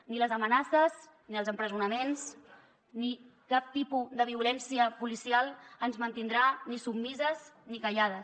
ni les amenaces ni els empresonaments ni cap tipus de violència policial ens mantindrà ni submises ni callades